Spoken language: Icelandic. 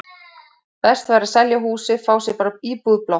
Best væri að selja húsið, fá sér bara íbúð í blokk.